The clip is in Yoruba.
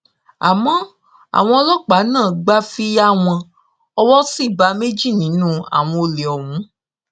àmọ àwọn ọlọpàá náà gbà fi yá wọn owó ṣì bá méjì nínú àwọn olè ọhún